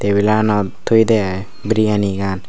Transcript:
table anot thoyede aii biriyani gan.